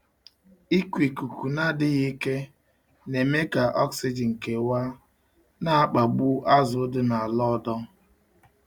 Ịkụ ikuku na-adịghị ike na-eme ka oxygen kewaa, na-akpagbu azụ dị n’ala ọdọ.